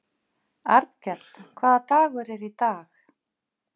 Arnkell, hvaða dagur er í dag?